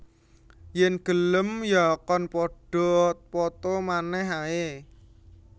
Yen gelem ya kon padha poto manèh ae